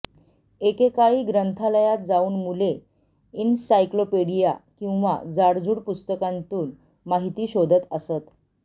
एकेकाळी ग्रंथालयात जाऊन मुले इनसाइक्लोपीडिया किंवा जाडजुड पुस्तकांतून माहिती शोधत असत